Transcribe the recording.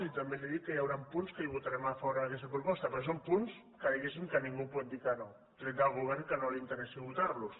i també li dic que hi haurà punts que hi votarem a favor en aquesta proposta perquè són punts que diguéssim ningú pot dir que no tret del govern que no li interessi votar los